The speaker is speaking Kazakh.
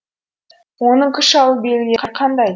оның күш алу белгілері қандай